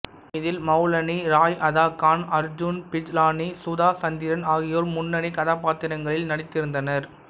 இதில் மௌனி ராய் அதா கான் அர்ஜுன் பிஜ்லானி சுதா சந்திரன் ஆகியோர் முன்னணி கதாபாத்திரங்களில் நடித்திருந்தனர்